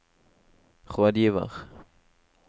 rådgiver